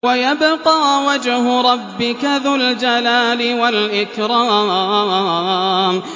وَيَبْقَىٰ وَجْهُ رَبِّكَ ذُو الْجَلَالِ وَالْإِكْرَامِ